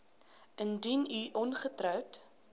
indien u ongetroud